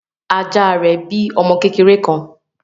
Ajá rẹ bí ọmọ kékeré kán.